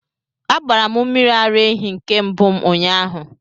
A gbara m mmiri ara ehi nke mbụm ụnyahụ